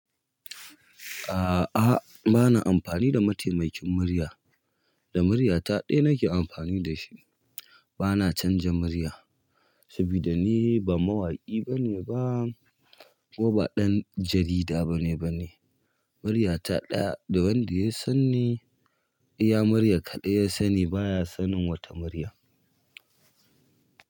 A'a, bana amfani da mataimakin murya. Da murya ta ɗaya nake amfani da shi. Bana canza murya saboda ni ba mawaƙi bane ba kuma ba ɗan jarida bane bane. Murya ta ɗaya da wanda ya sani, ya murya kaɗai ya sani baya sanin wata murya.